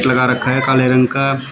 लगा रखा है काले रंग का।